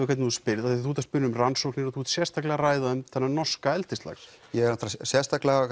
hvernig þú spyrð af því þú spyrð um rannsóknir og þú ert sérstaklega að ræða um þennan norska eldislax ég er sérstaklega